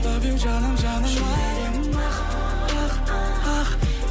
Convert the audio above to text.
лав ю жаным жаным ай жүрегім ақ ақ ақ